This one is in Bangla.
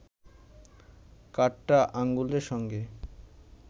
কাঠটা আঙুলের সঙ্গে